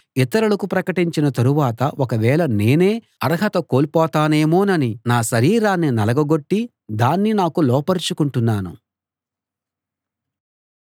ఇతరులకు ప్రకటించిన తరువాత ఒక వేళ నేనే అర్హత కొల్పోతానేమోనని నా శరీరాన్ని నలగగొట్టి దాన్ని నాకు లోబరచుకొంటున్నాను